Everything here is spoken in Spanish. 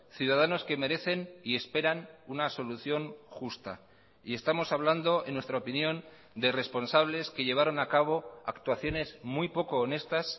ciudadanos que merecen y esperan una solución justa y estamos hablando en nuestra opinión de responsables que llevaron a cabo actuaciones muy poco honestas